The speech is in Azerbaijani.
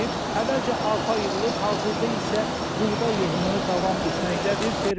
Əvvəlcə arpa yığılıb, hazırda isə buğda yığımı davam etməkdədir.